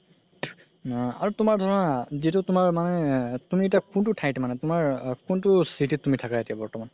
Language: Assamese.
আ আৰু তুমাৰ ধৰা যিতো তুমাৰ মানে তুমি এতিয়া কোনতো থাইত মানে তুমাৰ আ কোনতো city থাকা তুমি এতিয়া বৰ্তমান